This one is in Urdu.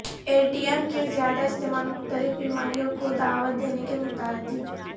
اے ٹی ایم کا زیادہ استعمال مختلف بیماریوں کو دعوت دینے کے مترادف